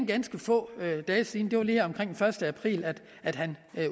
ganske få dage siden det var lige omkring første april at at han